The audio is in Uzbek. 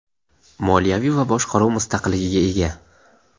moliyaviy va boshqaruv mustaqilligiga ega.